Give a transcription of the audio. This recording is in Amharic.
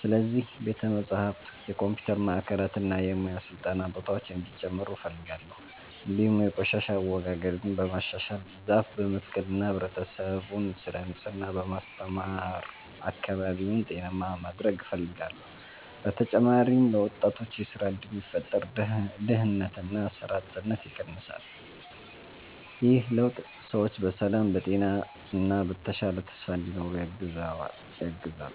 ስለዚህ ቤተ መጻሕፍት፣ የኮምፒውተር ማዕከላት እና የሙያ ስልጠና ቦታዎች እንዲጨምሩ እፈልጋለሁ። እንዲሁም የቆሻሻ አወጋገድን በማሻሻል፣ ዛፍ በመትከል እና ህብረተሰቡን ስለ ንጽህና በማስተማር አካባቢውን ጤናማ ማድረግ እፈልጋለሁ። በተጨማሪም ለወጣቶች የሥራ እድል ቢፈጠር ድህነትና ሥራ አጥነት ይቀንሳል። ይህ ለውጥ ሰዎች በሰላም፣ በጤና እና በተሻለ ተስፋ እንዲኖሩ ያግዛል።